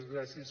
gràcies